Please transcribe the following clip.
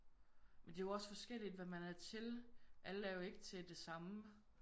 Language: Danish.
Men det er jo også forskelligt hvad man er til. Alle er jo ikke til det samme